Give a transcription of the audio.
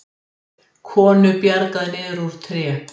Konu bjargað niður úr tré